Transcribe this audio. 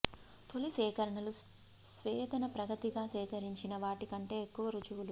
తొలి సేకరణలు స్వేదన ప్రగతిగా సేకరించిన వాటి కంటే ఎక్కువ రుజువులు